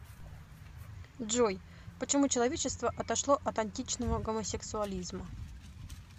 джой почему человечество отошло от античного гомосексуализма